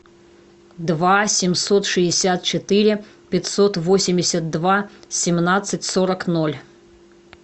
два семьсот шестьдесят четыре пятьсот восемьдесят два семнадцать сорок ноль